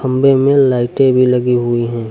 खम्भे मे लाइटें भी लगी हुई हैं।